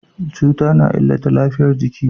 Cutar na illata lafiyar jiki.